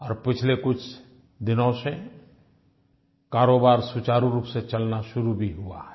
और पिछले कुछ दिनों से कारोबार सुचारु रूप से चलना शुरू भी हुआ है